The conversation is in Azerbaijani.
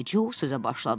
Deyə Hindu Co sözə başladı.